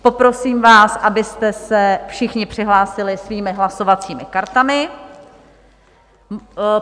Poprosím vás, abyste se všichni přihlásili svými hlasovacími kartami.